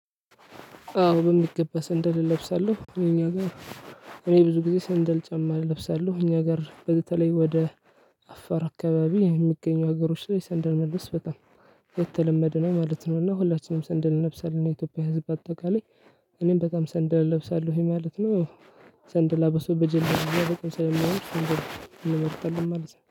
አዎ በሚገባ ሰንደል እለብሳለሁ እኛ ጋር። እኔ ብዙ ጊዜ ሰንደል ጫማ እለብሳለሁ እኛ ጋር በተለይ ወደ አፋር አካባቢ የሚገኙ ሀገሮች ላይ ሰንደር መልበስ በጣም የተለመደ ነው ማለት ነው። እና ሁላችንም ሰንደል እንለብሳለን የኢትዮጵያ ህዝብ በአጠቃላይ እኔም በጣም ሰንደል እለብሳለሁኝ ማለት ነው። ሰንደላ በሱ በጀለቢያ በጣም ስለሚያምር እሱን እንመርጣለን ማለት ነው